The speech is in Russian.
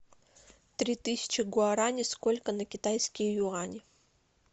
три тысячи гуарани сколько на китайские юани